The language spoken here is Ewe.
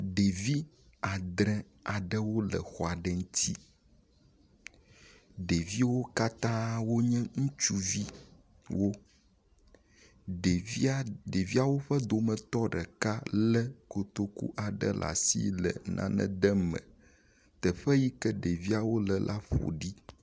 Ɖevi adre aɖewo le xɔ aɖe ŋuti, ɖevio wo katã wonye ŋutsuviwo wo, ɖevia, ɖeviawo ƒe dometɔ ɖeka le kotoku aɖe l'asi le nane dem me. Teƒe yike ɖeviawo le la ƒo ɖi.